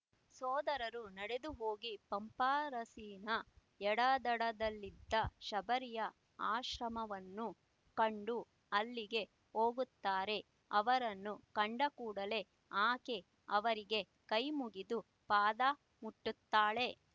ಸೋದರರು ನಡೆದುಹೋಗಿ ಪಂಪಾರಸ್ಸಿನ ಎಡದಡದಲ್ಲಿದ್ದ ಶಬರಿಯ ಆಶ್ರಮವನ್ನು ಕಂಡು ಅಲ್ಲಿಗೆ ಹೋಗುತ್ತಾರೆ ಅವರನ್ನು ಕಂಡಕೂಡಲೆ ಆಕೆ ಅವರಿಗೆ ಕೈಮುಗಿದು ಪಾದ ಮುಟ್ಟುತ್ತಾಳೆ